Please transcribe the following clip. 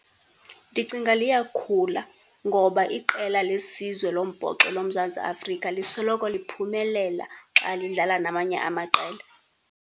Ndicinga liyakhula, ngoba iqela lesizwe lombhoxo loMzantsi Afrika lisoloko liphumelela xa lidlala namanye amaqela.